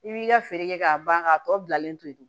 I b'i ka feere kɛ k'a ban k'a tɔ bilalen to yen